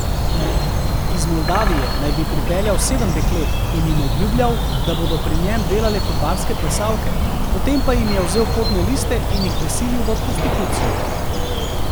Iz Moldavije naj bi pripeljal sedem deklet in jim obljubljal, da bodo pri njem delale kot barske plesalke, potem pa jim je vzel potne liste in jih prisilil v prostitucijo.